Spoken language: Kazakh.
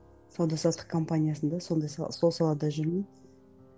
сауда саттық компаниясында сондай сала сол салада жүрмін